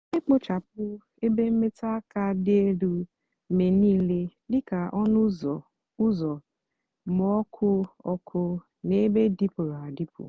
nà-èkpochapụ ébé mmetụ ákà dị élú mgbe nííle dị kà ónú úzọ úzọ mgba ọkụ ọkụ nà ébé dịpụrụ adịpụ.